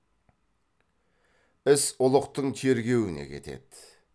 іс ұлықтың тергеуіне кетеді